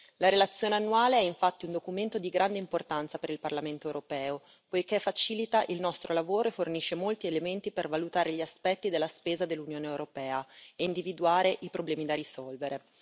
La relazione annuale è infatti un documento di grande importanza per il Parlamento europeo, poiché facilita il nostro lavoro e fornisce molti elementi per valutare gli aspetti della spesa dell'Unione europea e individuare i problemi da risolvere.